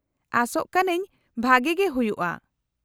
-ᱟᱥᱚᱜ ᱠᱟᱹᱱᱟᱹᱧ ᱵᱷᱟᱜᱮ ᱜᱮ ᱦᱩᱭᱩᱜᱼᱟ ᱾